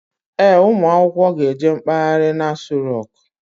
Ee, ụmụ akwụkwọ ga eje mkpaghari n'Aso roku